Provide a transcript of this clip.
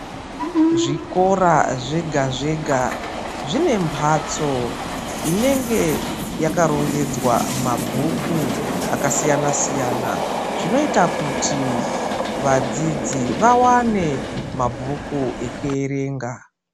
Zvikora zvega zvega zvine mbatso inenge yakarongedzwa mabhuku akasiyana siyana. Zvinoita kuti vadzidzi vawane mabhuku ekuverenga.